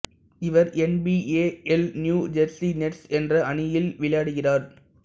இவர் N B A இல் New Jersey Nets என்ற அணியில் விளையாடுகிறார்